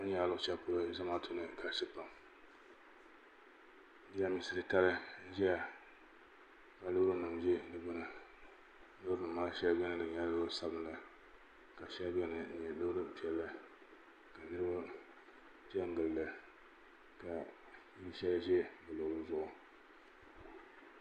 kpɛŋɔ nyɛla jama jamibu shɛɛ ka nyɛ ka moaulinim dɛi luɣilikam mosilimi maa mɛ suhiri piɛli haɣigi an kana tiyuli bɛ kuli nɛŋdila ka o li nima ka shɛbi ʒɛya yuniba shɛbi ʒɛya linli gbani jinli maa mɛ viɛli yaɣigi